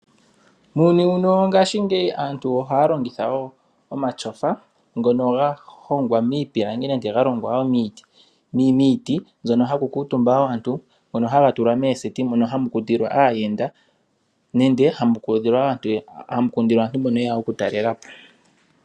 Muuyuni mbuno wongaashingeyi aantu oha yalongitha woo omatyofa ngono ga hongwa miipilangi nande ga longwa wo miiti mbyono haku kuutumba aantu ngono haga tulwa mooseti mono hamu kundilwa aayenda nande hamu kundilwa aantu mbono yeya okutalela po.